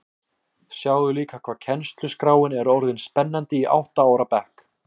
Sjáðu líka hvað kennsluskráin er orðin spennandi í átta ára bekk